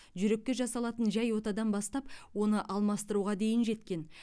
жүрекке жасалатын жай отадан бастап оны алмастыруға дейін жеткен